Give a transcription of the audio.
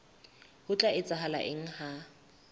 ho tla etsahala eng ha